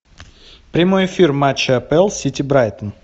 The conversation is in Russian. прямой эфир матча апл сити брайтон